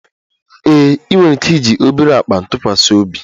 Ee, ị nwere ike iji obere akpa ntụkwasị obi